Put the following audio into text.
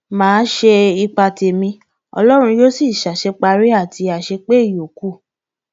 má a ṣe ipa tẹmí ọlọrun yóò sì ṣàṣeparí àti àṣepé ìyókù